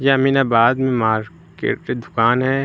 अमीनाबाद में मार्केट की दुकान है।